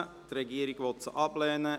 Die Regierung will diese ablehnen.